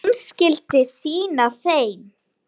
Hún skyldi sýna þeim.